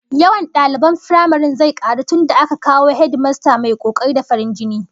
Yawan daliban firamaren zai karu tunda aka kawo hedimasta mai kokari da farin jini